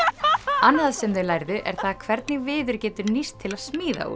annað sem þau lærðu er það hvernig viður getur nýst til að smíða úr